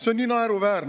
See on naeruväärne!